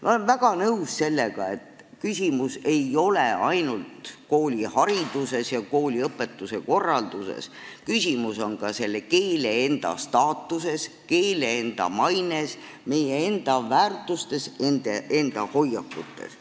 Me oleme väga nõus sellega, et küsimus ei ole ainult koolihariduses ja kooliõpetuse korralduses, küsimus on ka selle keele enda staatuses, keele enda maines, meie enda väärtustes ja meie enda hoiakutes.